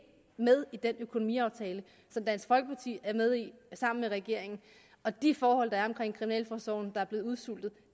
med i den økonomiaftale som dansk folkeparti er med i sammen med regeringen og de forhold der er i kriminalforsorgen der er blevet udsultet